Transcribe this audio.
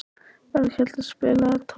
Berghildur, spilaðu tónlist.